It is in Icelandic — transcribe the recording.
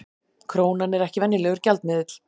Krónan er ekki venjulegur gjaldmiðill